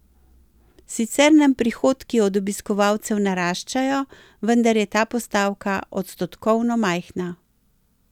Sicer nam prihodki od obiskovalcev naraščajo, vendar je ta postavka odstotkovno majhna.